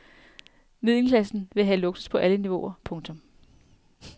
Middelklassen vil have luksus på alle niveauer. punktum